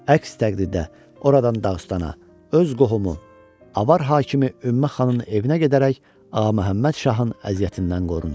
Əks təqdirdə oradan Dağıstana, öz qohumu, Avar hakimi Ümmə xanın evinə gedərək Ağa Məhəmməd Şahın əziyyətindən qorunsun.